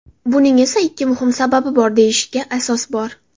Buning esa ikki muhim sababi bor deyishga asos bor.